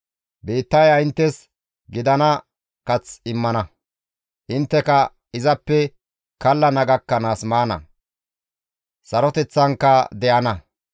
Biittaya inttes gidana kath immana; intteka izippe kallana gakkanaas maana; saroteththanka de7ana.